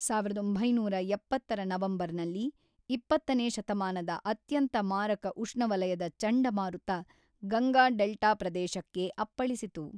ಸಾವಿರದ ಒಂಬೈನೂರ ಎಪ್ಪತ್ತರ ನವೆಂಬರ್‌ನಲ್ಲಿ, ಇಪ್ಪತ್ತನೇ ಶತಮಾನದ ಅತ್ಯಂತ ಮಾರಕ ಉಷ್ಣವಲಯದ ಚಂಡಮಾರುತ ಗಂಗಾ ಡೆಲ್ಟಾ ಪ್ರದೇಶಕ್ಕೆ ಅಪ್ಪಳಿಸಿತು.